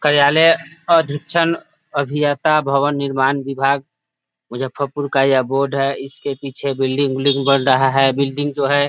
कर्यालय अभिक्षण अभियंता भवन निर्माण विभाग मुजफ्फरपुर का यह बोर्ड है इसके पीछे बिल्डिंग उलडिंग बन रहा है बिल्डिंग जो है --